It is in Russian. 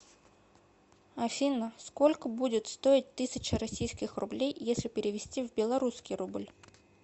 афина сколько будет стоить тысяча российских рублей если перевести в белорусский рубль